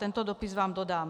Tento dopis vám dodám.